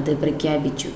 അത് പ്രഖ്യാപിച്ചു